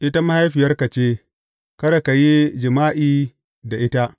Ita mahaifiyarka ce; kada ka yi jima’i da ita.